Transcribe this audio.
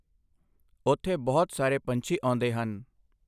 ਓੁੱਥੇ ਬਹੁਤ ਸਾਰੇ ਪੰਛੀ ਆਉਂਦੇ ਹਨ।